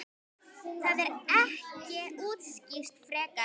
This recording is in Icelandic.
Það er ekki útskýrt frekar.